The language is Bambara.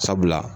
Sabula